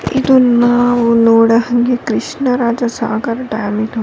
ಇದು ನಾವು ನೋಡೊ ಹಂಗೆ ಕೃಷ್ಣ ರಾಜ ಸಾಗರ ಡ್ಯಾಮ್ ಇದು --